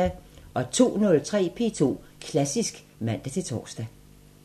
02:03: P2 Klassisk (man-tor)